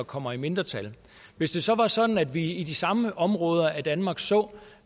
kommer i mindretal hvis det så var sådan at vi i de samme områder af danmark så